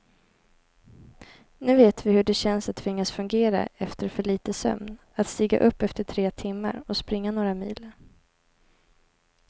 Nu vet vi hur det känns att tvingas fungera efter för lite sömn, att stiga upp efter tre timmar och springa några mil.